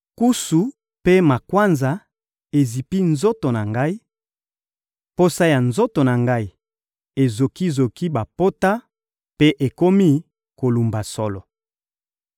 Nkusu mpe makwanza ezipi nzoto na ngai, poso ya nzoto na ngai ezoki-zoki bapota mpe ekomi kolumba solo.